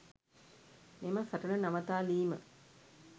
මෙම සටන නවතාලීම